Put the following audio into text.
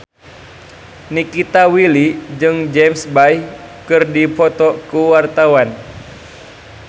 Nikita Willy jeung James Bay keur dipoto ku wartawan